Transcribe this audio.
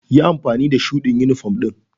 Yi amfani da shuɗi yunifom ɗin.